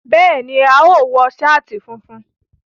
Béèni, a óò wo sáàtì funfun